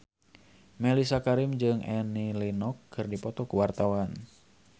Mellisa Karim jeung Annie Lenox keur dipoto ku wartawan